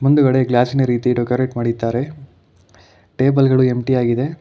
ಹಿಂದುಗಡೆ ಗ್ಲಾಸಿ ನ ರೀತಿ ಡೆಕೋರೇಟ್ ಮಾಡಿದ್ದಾರೆ ಟೇಬಲ್ ಗಳು ಎಂಪ್ಟಿ ಆಗಿದೆ.